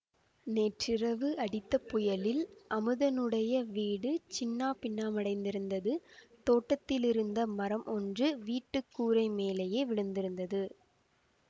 நேற்றிரவு அடித்த புயலில் அமுதனுடைய வீடு சின்னாபின்னமடைந்திருந்தது தோட்டத்திலிருந்த மரம் ஒன்று வீட்டு கூரை மேலேயே விழுந்திருந்தது